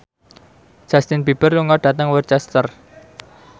Justin Beiber lunga dhateng Worcester